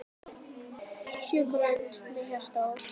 Sjö grönd með hjarta út.